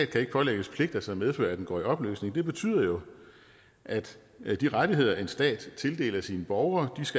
kan pålægges pligter som medfører at den går i opløsning betyder jo at de rettigheder en stat tildeler sine borgere